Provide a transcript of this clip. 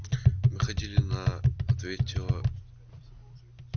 мы ходили на ответила